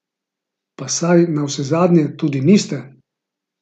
Pa saj navsezadnje tudi niste!